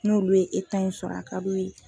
N'olu ye e ta in sɔrɔ a ka d'u ye.